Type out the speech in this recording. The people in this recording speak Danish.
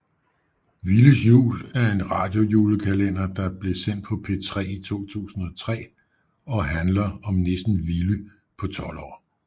Villys jul er en radiojulekalender der blev sendt på P3 i 2003 og handler om nissen Villy på 12 år